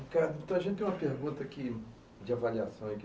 Ricardo, a gente tem uma pergunta aqui de avaliação.